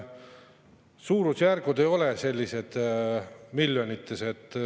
Suurusjärgud ei ole miljonites.